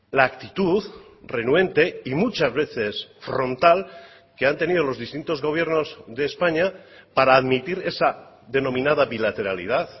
la actitud renuente y muchas veces frontal que han tenido los distintos gobiernos de españa para admitir esa denominada bilateralidad